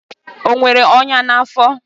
O nwere ọnya n'afọ?